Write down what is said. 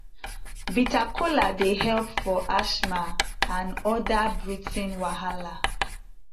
bitter kola dey help for asthma and other breathing wahala